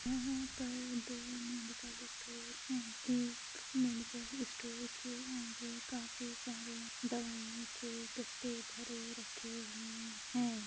यहां पर दो मेडिकल स्टोर है एक मेडिकल स्टोर के आगे काफी सारे दवाईयों के गद्दे भरे रखे हुए हैं।